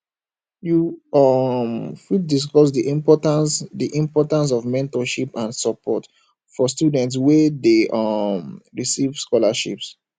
you um fit discuss di importance di importance of mentorship and support for students wey dey um receive scholarships